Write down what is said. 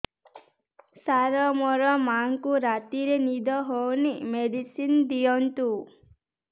ସାର ମୋର ମାଆଙ୍କୁ ରାତିରେ ନିଦ ହଉନି ମେଡିସିନ ଦିଅନ୍ତୁ